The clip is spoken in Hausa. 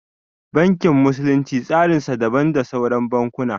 Bankin musulunci tsarin sa daban da sauran bankuna